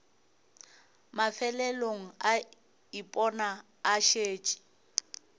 mafelelong a ipona a šetše